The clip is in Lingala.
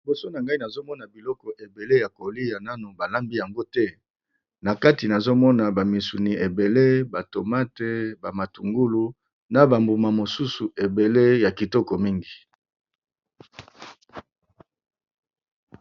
Liboso na nga, na moni biloko ebele ya kolia nanu balambi yango te, nakati ba musuni ebele, ba matungulu na ba tomate ebele , na ba mbuma mususu ebele ya kolia, ya kitoko mingi.